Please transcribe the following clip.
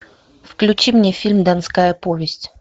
включи мне фильм донская повесть